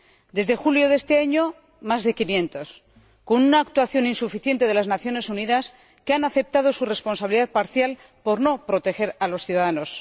Desde julio de este año se han registrado más de 500, con una actuación insuficiente de las Naciones Unidas, que han aceptado su responsabilidad parcial por no proteger a los ciudadanos.